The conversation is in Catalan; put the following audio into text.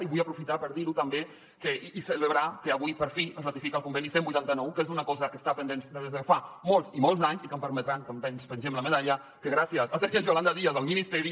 i vull aprofitar per dir ho també i celebrar ho que avui per fi es ratifica el conveni cent i vuitanta nou que és una cosa que està pendent des de fa molts i molts anys i que em permetran que ens pengem la medalla que gràcies a tenir a yolanda díaz al ministeri